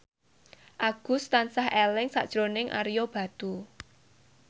Agus tansah eling sakjroning Ario Batu